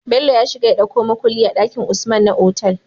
Bello ya shiga ya ɗauko mukulli a dakin usman na otal